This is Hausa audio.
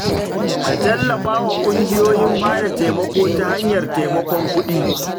Ka tallafa wa kungiyoyin bada taimako ta hanyar taimakon kuɗi.